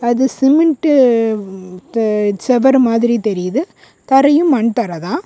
அது சிமெண்ட் து செவர் மாதிரி தெரியுது தரையும் மண் தரதான்.